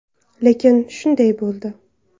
Lekin shunday bo‘ldi.